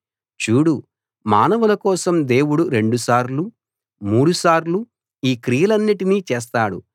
చూడు మానవుల కోసం దేవుడు రెండు సార్లు మూడు సార్లు ఈ క్రియలన్నిటినీ చేస్తాడు